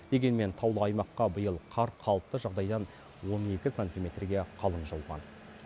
дегенмен таулы аймаққа биыл қар қалыпты жағдайдан он екі сантиметрге қалың жауған